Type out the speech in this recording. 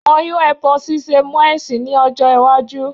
Wọn yóò ẹbọ ṣíṣe mọ́ ẹ̀sìn ní ọjọ́-ìwájú.